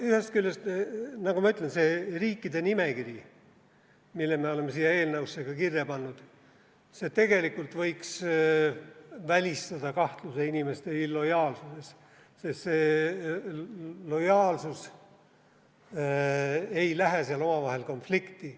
Ühest küljest see riikide nimekiri, mille me oleme siia eelnõusse ka kirja pannud, võiks tegelikult välistada inimeste ebalojaalsuse kahtluse, sest see lojaalsus ei lähe seal omavahel konflikti.